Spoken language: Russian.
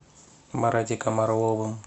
маратиком орловым